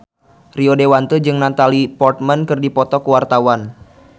Rio Dewanto jeung Natalie Portman keur dipoto ku wartawan